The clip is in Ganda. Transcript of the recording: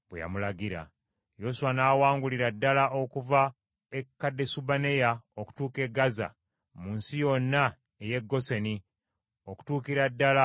Yoswa n’awangulira ddala okuva e Kadesubanea okutuuka e Gaaza mu nsi yonna ey’e Goseni okutuukira ddala e Gibyoni.